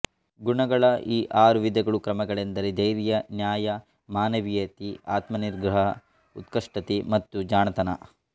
ಗುಣಗಳ ಈ ಆರು ವಿಧಗಳು ಕ್ರಮಗಳೆಂದರೆ ಧೈರ್ಯ ನ್ಯಾಯ ಮಾನವೀಯತೆಆತ್ಮನಿಗ್ರಹ ಉತ್ಕೃಷ್ಟತೆ ಮತ್ತು ಜಾಣತನ